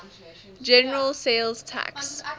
general sales tax